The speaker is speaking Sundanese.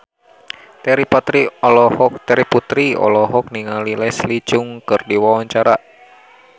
Terry Putri olohok ningali Leslie Cheung keur diwawancara